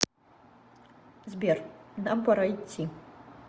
сбер нам пора идти